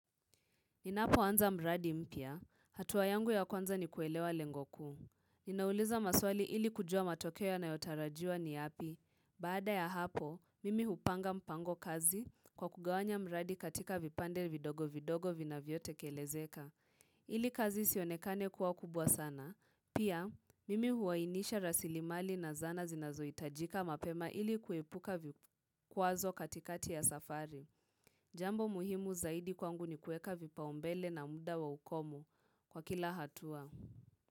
Ninapo anza mradi mpya, hatua yangu ya kwanza ni kuelewa lengo kuu. Ninauliza maswali ili kujua matokeo ya nayotarajua ni yapi. Baaa ya hapo, mimi hupanga mpango kazi kwa kugawanya mradi katika vipande vidogo vidogo vina vyotekelezeka. Ili kazi sionekane kuwa kubwa sana. Pia, mimi huwainisha rasilimali na zana zinazo itajika mapema ili kuepuka vikwazo katikati ya safari. Jambo muhimu zaidi kwangu ni kueka vipaumbele na muda wa ukomo kwa kila hatua.